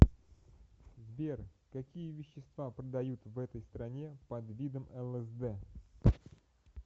сбер какие вещества продают в этой стране под видом лсд